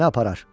Məni aparar.